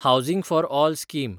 housing for all scheme